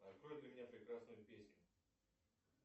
открой для меня прекрасную песню